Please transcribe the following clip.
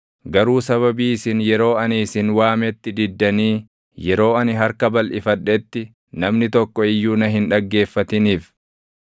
Garuu sababii isin yeroo ani isin waametti diddanii yeroo ani harka balʼifadhetti namni tokko iyyuu na hin dhaggeeffatiniif,